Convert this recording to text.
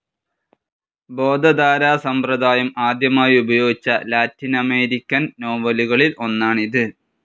ബോധധാരാ സമ്പ്രദായം ആദ്യമായി ഉപയോഗിച്ച ലാറ്റിനമരിക്കൻ നോവലുകളിൽ ഒന്നാണിത്.